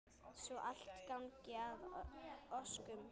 Svo allt gangi að óskum.